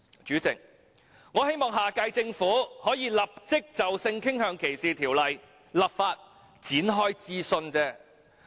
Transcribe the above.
主席，我希望下屆政府可以立即就性傾向歧視條例展開諮詢而已。